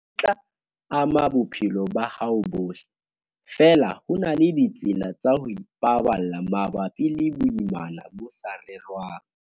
ho tla ama bophelo ba hao bohle, feela ho na le ditsela tsa ho ipaballa mabapi le boimana bo sa rerwang.